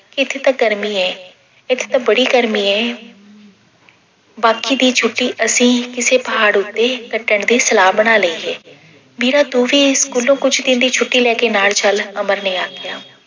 ਏਥੇ ਤਾਂ ਗਰਮੀਂ ਏ, ਏਥੇ ਤਾਂ ਬੜੀ ਗਰਮੀ ਏ ਬਾਕੀ ਦੀ ਛੁੱਟੀ ਅਸੀਂ ਕਿਸੇ ਪਹਾੜ ਉੱਤੇ ਕੱਟਣ ਦੀ ਸਲਾਹ ਬਣਾ ਲਈ ਏ। ਮੀਰਾ ਤੂੰ ਵੀ school ਕੁੱਝ ਦਿਨ ਦੀ ਛੁੱਟੀ ਲੈ ਕੇ ਨਾਲ ਚੱਲ, ਅਮਰ ਨੇ ਆਖਿਆ।